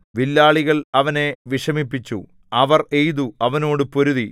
വില്ലാളികൾ അവനെ വിഷമിപ്പിച്ചു അവർ എയ്തു അവനോട് പൊരുതി